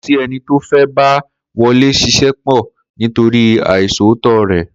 Kò sí e̩ni tó fé̩ bá Wo̩lé s̩is̩é̩ pò̩ nítorí àìs̩òótó rè̩